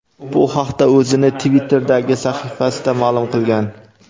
Bu haqda o‘zining Twitter’dagi sahifasida ma’lum qilgan.